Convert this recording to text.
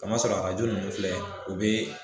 Kamasɔrɔ arajo nunnu filɛ u be